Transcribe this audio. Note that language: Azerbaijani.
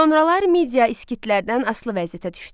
Sonralar Midiya İskitlərdən asılı vəziyyətə düşdü.